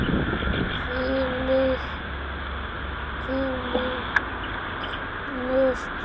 Hvílík mistök!